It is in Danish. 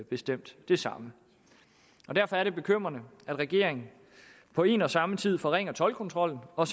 bestemt det samme derfor er det bekymrende at regeringen på en og samme tid forringer toldkontrollen og